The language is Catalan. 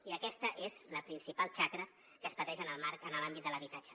i aquesta és la principal xacra que es pateix en el marc en l’àmbit de l’habitatge